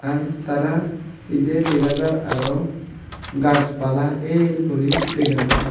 en tara pije dega jaar aro gajch pala el guri dega jaar.